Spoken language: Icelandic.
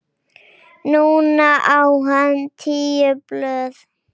Núna á hann tíu blöð.